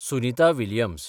Sunita Williams